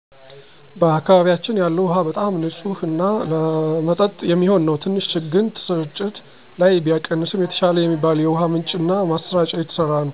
በአካባቢያችን ያለው ውሃ በጣም ንፅህ እና ለመጠጥ የሚሆን ነው። ትንሽ ግን ስርጭት ላይ ቢቀንስም የተሻለ የሚባል የውሃ ምንጭ እና ማሰራጫ እየተሰራ ነው